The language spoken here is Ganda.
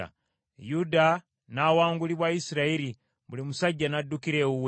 Yuda n’awangulibwa Isirayiri, buli musajja n’addukira ewuwe.